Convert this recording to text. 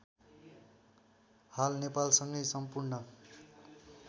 हाल नेपालसँगै सम्पूर्ण